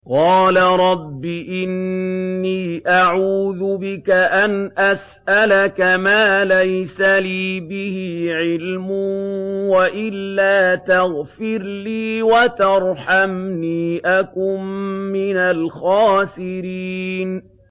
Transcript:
قَالَ رَبِّ إِنِّي أَعُوذُ بِكَ أَنْ أَسْأَلَكَ مَا لَيْسَ لِي بِهِ عِلْمٌ ۖ وَإِلَّا تَغْفِرْ لِي وَتَرْحَمْنِي أَكُن مِّنَ الْخَاسِرِينَ